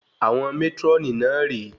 Àwọn mátrónì náà rè é